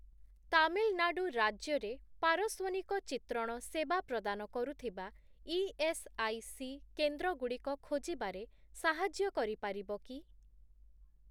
ତାମିଲନାଡ଼ୁ ରାଜ୍ୟରେ ପାରସ୍ଵନିକ ଚିତ୍ରଣ ସେବା ପ୍ରଦାନ କରୁଥିବା ଇଏସ୍ଆଇସି କେନ୍ଦ୍ରଗୁଡ଼ିକ ଖୋଜିବାରେ ସାହାଯ୍ୟ କରିପାରିବ କି?